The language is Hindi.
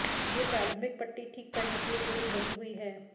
यह प्रारंभिक पट्टी ठीक करने के लिए केवल बनी हुई है